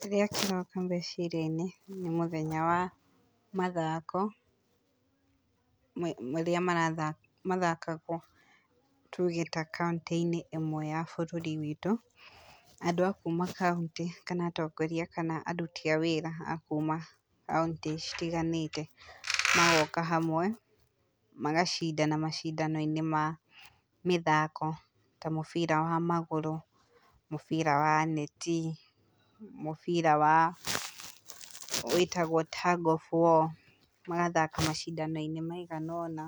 Kĩrĩa kĩroka meciria-inĩ nĩ mũthenya wa mathako, marĩa mara mathakagwo tuuge ta kauntĩ-inĩ ĩmwe ya bũrũri witũ, andũ a kuuma kauntĩ kana atongoria, kana aruti a wĩra akuuma kauntĩ citiganĩte, magoka hamwe, magacindana macindano-inĩ ma mĩthako, ta mũbira wa magũrũ, mũbira wa neti, mũbira wa wĩtagwo tag of war, magathaka macindano-inĩ maigana ũna,